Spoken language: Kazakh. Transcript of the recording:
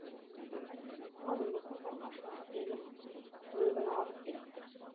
ал өліп қалғасын келіп өлігін алып кетті